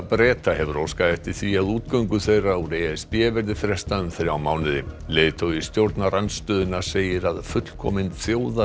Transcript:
Breta hefur óskað eftir því að útgöngu þeirra úr e s b verði frestað um þrjá mánuði leiðtogi stjórnarandstöðunnar segir að fullkomin